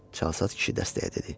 Çalsaç kişi dəstəyə dedi.